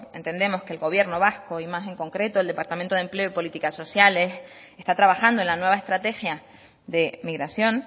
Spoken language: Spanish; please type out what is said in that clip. entendemos que el gobierno vasco y más en concreto el departamento de empleo y políticas sociales está trabajando en la nueva estrategia de migración